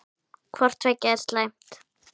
Hvort tveggja er slæmt.